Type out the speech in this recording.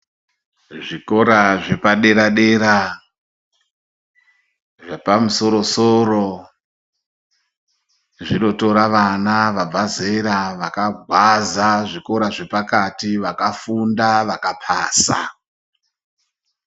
Zvikora zve padera dera zvepa musoro soro zvino tora vana vabva zera vaka gwaza zvikora zve pakati vaka funda vaka pasa.